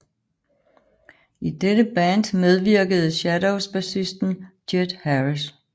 I dette band medvirkede Shadows bassisten Jet Harris